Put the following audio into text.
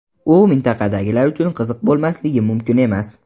U mintaqadagilar uchun qiziq bo‘lmasligi mumkin emas.